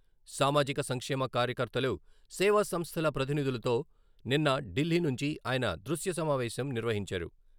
సామాజిక సంక్షేమ కార్యకర్తలు, సేవా సంస్థల ప్రతినిధులతో నిన్న ఢిల్లీ నుంచి ఆయన దృశ్య సమావేశం నిర్వహించారు.